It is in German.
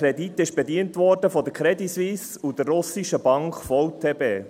Dieser Kredit wurde von der Credit Suisse (CS) und der russischen Bank VTB bedient.